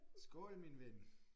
Skål min ven